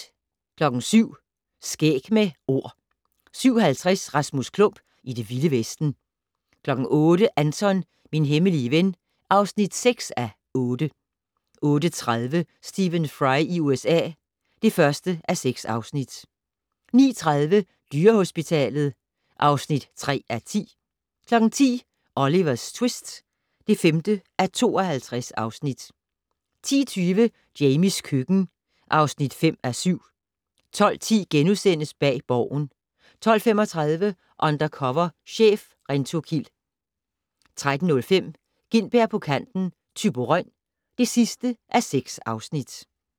07:00: Skæg med Ord 07:50: Rasmus Klump i Det Vilde Vesten 08:00: Anton - min hemmelige ven (6:8) 08:30: Stephen Fry i USA (1:6) 09:30: Dyrehospitalet (3:10) 10:00: Olivers tvist (5:52) 10:20: Jamies køkken (5:7) 12:10: Bag Borgen * 12:35: Undercover chef - Rentokil 13:05: Gintberg på kanten - Thyborøn (6:6)